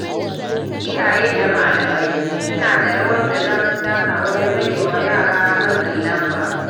Iyaye da malamai suna da rawar da za su taka wajen rage wa yara matsin lamba.